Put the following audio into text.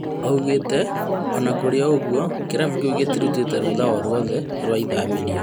Oigĩte "Ona kũrĩ ũguo kĩrabu kĩu gĩturutĩte rũtha oro rwothe rĩa ithamĩrio"